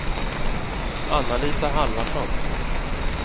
Anna-Lisa Halvarsson